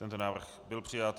Tento návrh byl přijat.